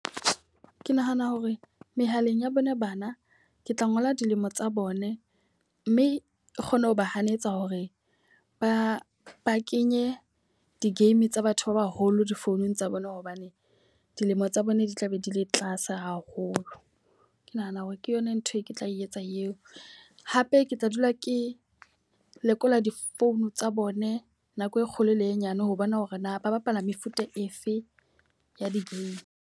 Ke nahana hore mehaleng ya bona bana, ke tla ngola dilemo tsa bone. Mme e kgone ho ba hanetsa hore ba ba kenye di-game tsa batho ba baholo difounung tsa bona hobane dilemo tsa bona di tla be di le tlase haholo. Ke nahana hore ke yona nthwe ke tla etsa eo. Hape ke tla dula ke lekola di-phone tsa bone nako e kgolo le e nyane ho bona hore na ba bapala mefuta efe ya di-game.